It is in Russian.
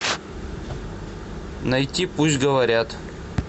найти пусть говорят